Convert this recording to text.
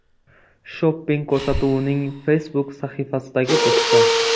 Shopping” ko‘rsatuvining Facebook sahifasidagi postda.